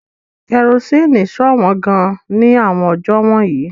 Kerosene ṣọ̀wọ́n gan-an ní àwọn ọjọ́ wọ̀nyí.